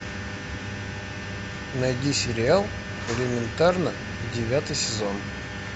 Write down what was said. найди сериал элементарно девятый сезон